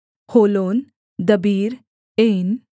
होलोन दबीर ऐन